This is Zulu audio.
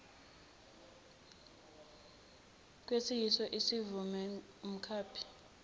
kwesiyiso ivumele umkhaphi